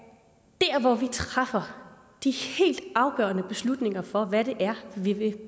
når vi træffer de helt afgørende beslutninger for hvad det er vi vil